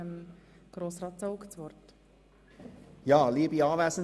Dann kommen wir zu den Einzelsprechern.